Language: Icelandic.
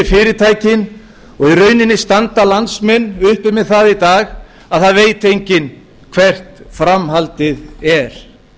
fyrirtækin og í rauninni standa landsmenn uppi með það í dag að það veit enginn hvert framhaldið er